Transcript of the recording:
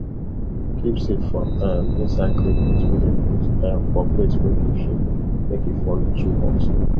keep seed for um inside clay pot wey dem put um for place wey get shade make e for no too hot